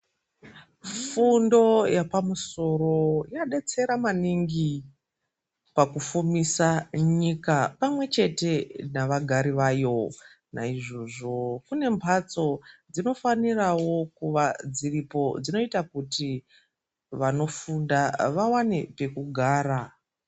Fundo yepamusoro yanetsera maningi pakufumisa nyika pamwe chete navagari vayo. Nayizvozvo, kunembatso dzinofanirawo kuva dziripo dzinoita kuti vanofunda vawane pekugara.